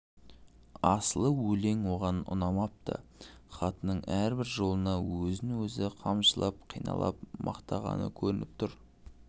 асылы өлең оған ұнамапты хатының әрбір жолынан өзін-өзі қамшылап қиналып мақтағаны көрініп тұр